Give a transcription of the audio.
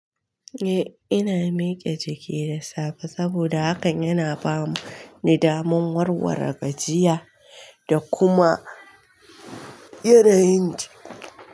Eh, ina mike jiki da safe saboda hakan yana ba ni daman warware gajiya da kuma yanayin jiki.